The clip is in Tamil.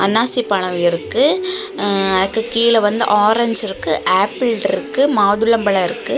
அன்னாசி பழம் இருக்கு அக்கு கீழ வந்து ஆரஞ்சு இருக்கு ஆப்பிள் இருக்கு மாதுளம் பழம் இருக்கு.